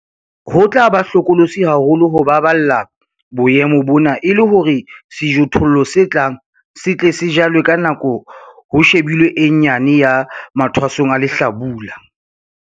Ho tla ba hlokolosi haholo ho baballa boemo bona e le hore sejothollo se tlang se tle se jalwe ka nako ho shebilwe e nyane ya mathwasong a lehlabula.